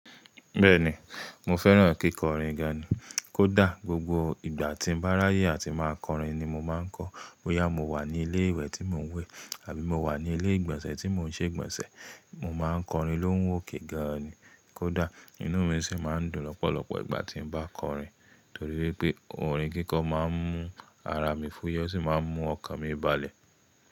Bẹ́ẹ̀ni, mo fẹ́ràn kíkọ orin gan-an kódà gbogbo ìgbà tí n bá r'aáyè àti máa k'ọrin ni mo máa ń kọ. Bóyá mo wà ní ilé ìwẹ̀ tí mò ń wẹ̀ àbí mo wà ní ilé ìgbọ̀nsẹ̀ tí mò ń ṣe ìgbọ̀nsẹ̀, mo má ń k'ọrin lóhùn òkè gan-an kódà inú mi sì má ń dùn lọ́pọ̀lọpọ̀ ìgbà tí n bá k'ọrin. Torí pé orin kíkọ máa ń mú ara mi fúyẹ́ ó sì máa ń mú ọkàn mi balẹ̀.